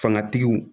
Fangatigiw